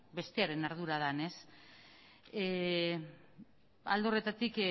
bestearen ardura den alde horretatik